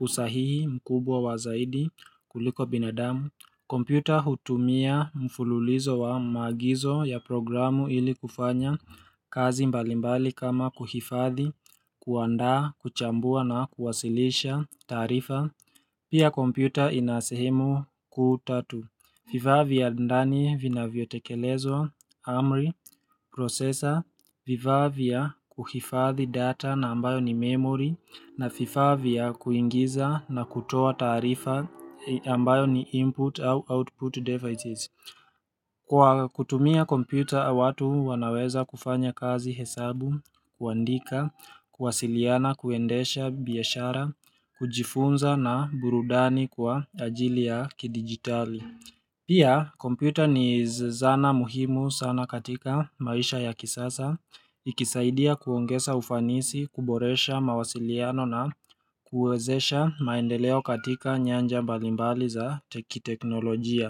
usahihi mkubwa wazaidi kuliko binadamu kompyuta hutumia mfululizo wa maagizo ya programu ili kufanya kazi mbalimbali kama kuhifadhi, kuandaa, kuchambua na kuwasilisha taarifa Pia kompyuta inasehemu kuu tatu vifaa vya ndani vina vyotekelezwa, AMRI, processor, vifaa vya kuhifadhi data na ambayo ni memory na vifaa vya kuingiza na kutoa taarifa ambayo ni input au output devices. Kwa kutumia kompyuta, watu wanaweza kufanya kazi hesabu, kuandika, kuwasiliana, kuendesha, biashara, kujifunza na burudani kwa ajili ya kidigitali. Pia, kompyuta ni zana muhimu sana katika maisha ya kisasa, ikisaidia kuongesa ufanisi, kuboresha mawasiliano na kuezesha maendeleo katika nyanja mbalimbali za teki teknolojia.